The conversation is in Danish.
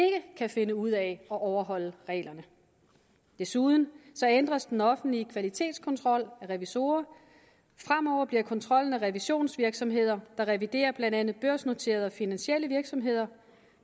kan finde ud af at overholde reglerne desuden ændres den offentlige kvalitetskontrol af revisorer fremover bliver kontrollen af revisionsvirksomheder der reviderer blandt andet børsnoterede og finansielle virksomheder